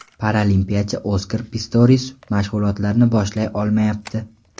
Paralimpiyachi Oskar Pistorius mashg‘ulotlarni boshlay olmayapti.